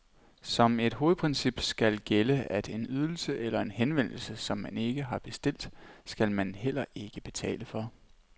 Som et hovedprincip skal gælde, at en ydelse eller en henvendelse, som man ikke har bestilt, skal man heller ikke betale for.